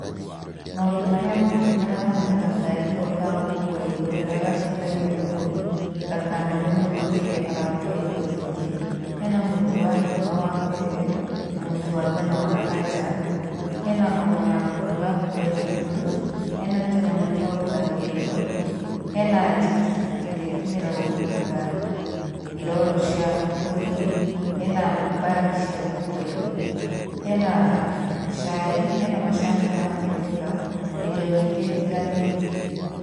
Maũndũ marĩa ma bata haha nĩ gakaari kau ka gũkuua indo karĩa gateithagia mũgũri, ndakanoge mũno rĩrĩa arakuua indo nyĩngĩ, hena mũtu wa ngima wa PEMBE na mũtu wa ngano wa Ajab, hena omo ya kũhũra nguo ya toss , hena tũnyamũ twa gũthambia indo, hena njiki ĩrĩa ĩtũmĩragwo kũruta irooro cia nguo-inĩ, hena mbagi cia gũkuua indo, hena cai hena macani ma Ketepa na indo nyingĩ itiganĩte.